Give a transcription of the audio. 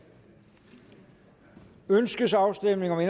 ønskes afstemning om